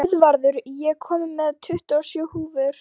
Guðvarður, ég kom með tuttugu og sjö húfur!